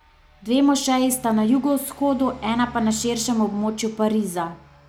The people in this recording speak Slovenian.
Dve mošeji sta na jugovzhodu, ena pa na širšem območju Pariza.